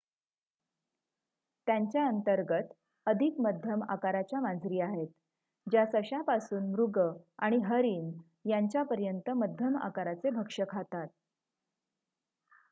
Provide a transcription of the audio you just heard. त्यांच्या अंतर्गत अधिक मध्यम आकाराच्या मांजरी आहेत ज्या सश्यापासून मृग आणि हरिण यांच्यापर्यंत मध्यम आकाराचे भक्ष्य खातात